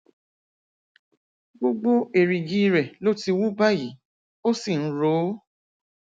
gbogbo èrìgì rẹ ló ti wú báyìí ó sì ń ro ó